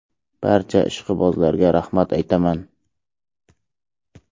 Barcha ishqibozlarga rahmat aytaman!